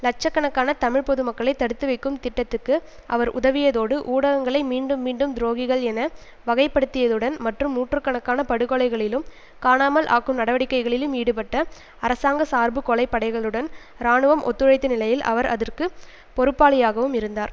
இலட்ச கணக்கான தமிழ் பொது மக்களை தடுத்து வைக்கும் திட்டத்துக்கு அவர் உதவியதோடு ஊடகங்களை மீண்டும் மீண்டும் துரோகிகள் என வகைப்படுத்தியதுடன் மற்றும் நூற்று கணக்கான படுகொலைகளிலும் காணாமல் ஆக்கும் நடவடிக்கைகளிலும் ஈடுபட்ட அரசாங்கசார்பு கொலை படைகளுடன் இராணுவம் ஒத்துழைத்த நிலையில் அவர் அதற்கு பொறுப்பாளியாகவும் இருந்தார்